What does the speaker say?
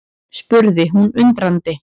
spurði hún undrandi.